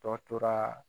Dɔ tora